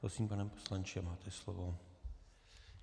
Prosím, pane poslanče, máte slovo.